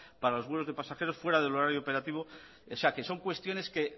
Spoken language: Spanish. para los vuelos de pasajeros fuera del horario operativo o sea que son cuestiones que